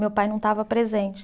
Meu pai não estava presente.